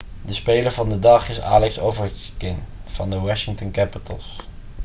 de speler van de dag is alex ovechkin van de washington capitals